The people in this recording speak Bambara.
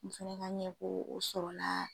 Muso ka n ɲɛ ko o sɔrɔla.